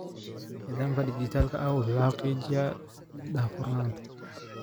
Nidaamka dhijitaalka ah wuxuu xaqiijinayaa daahfurnaanta.